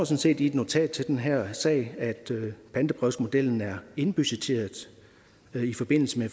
set i et notat til den her sag at pantebrevsmodellen er indbudgetteret i forbindelse med